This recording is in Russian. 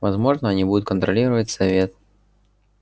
возможно они будут контролировать совет